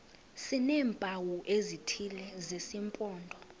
sineempawu ezithile zesimpondo